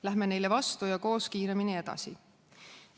Läheme neile vastu ja koos kiiremini edasi!